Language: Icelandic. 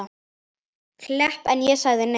Klepp en ég sagði nei.